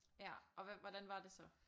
Ja og hvad hvordan var det så?